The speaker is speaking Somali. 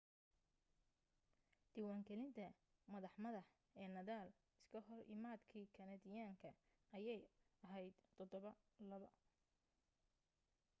diwaan galinta madax madax ee nadal iska hor imaadkii kanadiyaanka ayaa ahayd 7-2